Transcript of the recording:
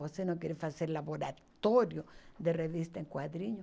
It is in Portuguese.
Você não quer fazer laboratório de revista em quadrinhos?